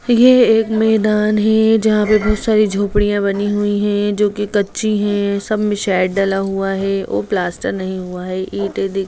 ये एक मैदान है जहां पे बहुत सारी झोपड़ी बनी हुई है जो कि कच्ची है सब में शेड डला हुआ है और प्लास्टर नहीं हुआ है ईटे दि --